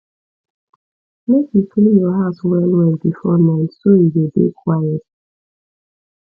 make you clean your house well well before night so e go dey quiet